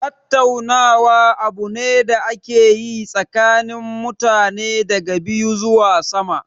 Tattaunawa abu ne da ake yi tsakanin mutane daga biyu zuwa sama.